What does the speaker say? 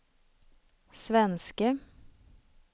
svenske